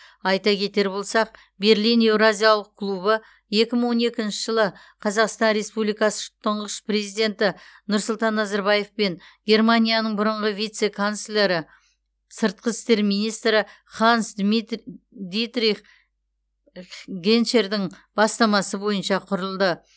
айта кетер болсақ берлин еуразиялық клубы екі мың он екінші жылы қазақстан республикасы тұңғыш президенті нұрсұлтан назарбаев пен германияның бұрынғы вице канцлері сыртқы істер министрі ханс дитрих геншердің бастамасы бойынша құрылды